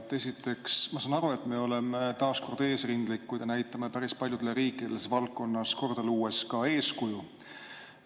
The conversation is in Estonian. Esiteks, ma saan aru, et me oleme taas kord eesrindlikud ja näitame päris paljudele riikidele valdkonnas korda luues ka eeskuju.